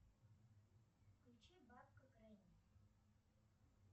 включи бабка грэнни